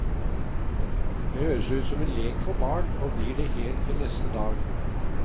Det høres ut som en lek for barn, og blir det helt til neste dag.